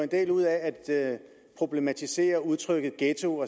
del ud af at problematisere udtrykket ghetto og